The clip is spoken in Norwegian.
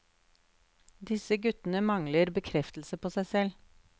Disse guttene mangler bekreftelse på seg selv.